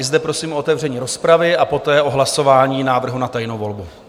I zde prosím o otevření rozpravy a poté o hlasování návrhu na tajnou volbu.